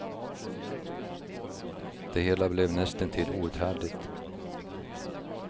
Det hela blev näst intill outhärdligt.